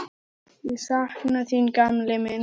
Ég sakna þín, gamli minn.